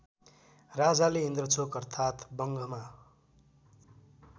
राजाले इन्द्रचोक अर्थात् वंघःमा